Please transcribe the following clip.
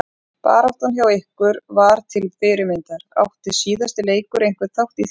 Baráttan hjá ykkur var til fyrirmyndar, átti síðasti leikur einhvern þátt í því?